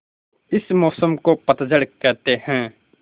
इस मौसम को पतझड़ कहते हैं